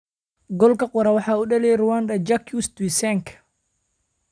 Goolka qura waxaa u dhaliyay Rwandan Jacques Tuyisenge.